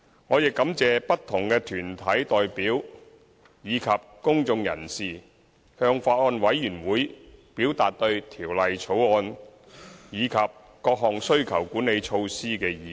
我亦感謝不同團體代表及公眾人士向法案委員會表達對《條例草案》及各項需求管理措施的意見。